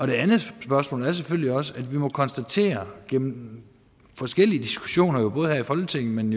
det andet spørgsmål er selvfølgelig også at vi må konstatere gennem forskellige diskussioner både her i folketinget men